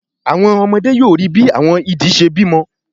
Àwọn ọmọdé yóò ríi bí àwọn idì ṣe bímọ